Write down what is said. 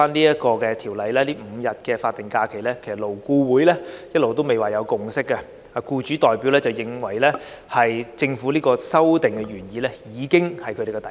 因此，就現在《條例草案》提出新增5天法定假日，勞顧會一直未有共識，當中僱主代表認為政府的修訂原意已是他們的底線。